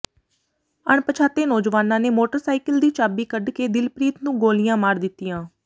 ਅਣਪਛਾਤੇ ਨੌਜਵਾਨਾਂ ਨੇ ਮੋਟਰਸਾਈਕਲ ਦੀ ਚਾਬੀ ਕੱਢਕੇ ਦਿਲਪ੍ਰੀਤ ਨੂੰ ਗੋਲੀਆਂ ਮਾਰ ਦਿੱਤੀਆਂ